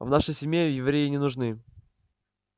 в нашей семье евреи не нужны